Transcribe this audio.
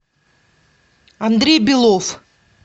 андрей белов